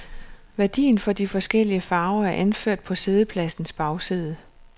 Værdien for de forskellige farver er anført på spillepladens bagside.